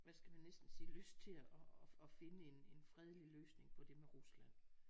Hvad skal man næsten sige lyst til at at finde en en fredelig løsning på det med Rusland